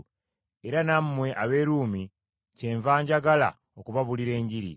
era nammwe ab’e Ruumi kyenva njagala okubabuulira Enjiri.